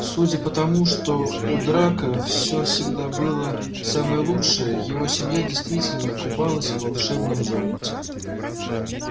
судя по тому что у драко все всегда было самое лучшее его семья действительно купалась в волшебном золоте